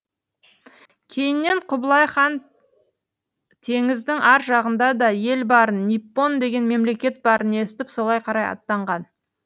кейіннен құбылай хан теңіздің ар жағында да ел барын ниппон деген мемлекет барын естіп солай қарай аттанған